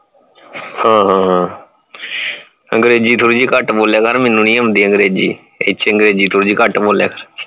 ਹਾਂ ਹਾਂ ਹਾਂ ਅੰਗਰੇਜ਼ੀ ਥੋੜੀ ਜੀ ਘੱਟ ਬੋਲਿਆ ਕਰ ਮੈਨੂੰ ਨਹੀਂ ਆਉਂਦੀ ਅੰਗਰੇਜ਼ੀ ਏਤੋ ਚੰਗਾ ਥੋੜੀ ਜੀ ਘੱਟ ਬੋਲਿਆ ਕਰ